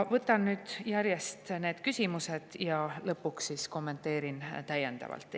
Võtan nüüd järjest need küsimused ja lõpuks kommenteerin täiendavalt.